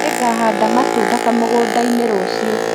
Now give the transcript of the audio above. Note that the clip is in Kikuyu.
Nĩngahanda matunda kamũgũnda-inĩ rũciũ